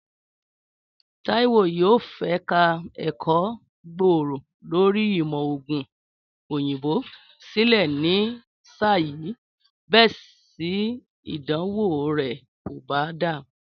Táíwò yóò fẹ̀ka ẹ̀kọ́ gbòòrò lórí ìmọ̀ ògùn òyìnbó sílẹ̀ ni sáà yìí bésì ìdánwò rẹ̀ kò bá dáa